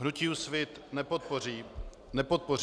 Hnutí Úsvit nepodpoří